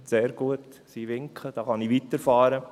– Sehr gut, sie winken, dann kann ich weiterfahren.